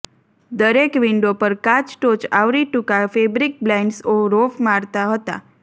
દરેક વિન્ડો પર કાચ ટોચ આવરી ટૂંકા ફેબ્રિક બ્લાઇંડ્સ રોફ મારતા હતા